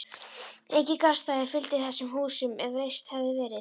Engin garðstæði fylgdu þessum húsum, ef reist hefðu verið.